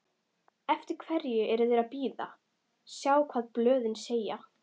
Eftir hverju er þeir að bíða, sjá hvað blöðin segja?